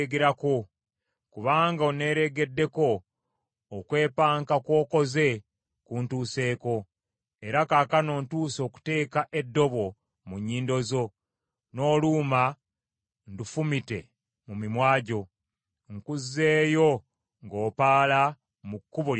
Kubanga oneereegeddeko, okwepanka kw’okoze nkutuuseeko. Era kaakano ntuuse okuteeka eddobo mu nnyindo zo, n’oluuma ndufumite mu mimwa gyo, nkuzzeeyo ng’opaala mu kkubo lye wajjiramu.”